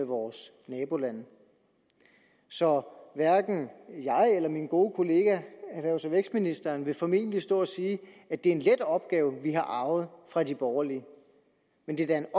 vores nabolande så hverken jeg eller min gode kollega erhvervs og vækstministeren vil formentlig stå og sige at det er en let opgave vi har arvet fra de borgerlige men det er da en